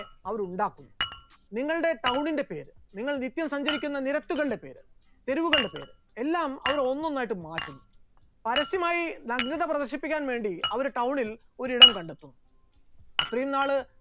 അവർ ഉണ്ടാക്കും, നിങ്ങളുടെ town ന്റെ പേര്, നിങ്ങൾ നിത്യവും സഞ്ചരിക്കുന്ന നിരത്തുകളുടെ പേര്, തെരുവുകളുടെ പേര്, എല്ലാം അവർ ഒന്നൊന്നായിട്ട് മാറ്റും. പരസ്യമായി നഗ്നത പ്രദർശിപ്പിക്കാൻ വേണ്ടി അവർ town ൽ ഒരിടം കണ്ടെത്തും, അത്രയും നാൾ